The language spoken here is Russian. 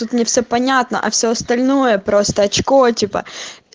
тут мне все понятно а все остальное просто очко типа